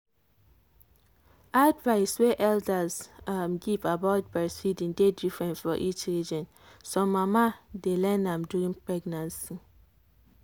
advice wey elders um give about breastfeeding dey different for each region. some mama dey learn am during pregnancy.